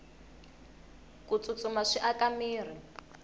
ku tsutsuma swi aka mirhi